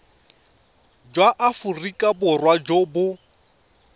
jwa aforika borwa jo bo